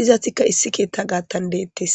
Izatikka issi keethtja gaattan deettes.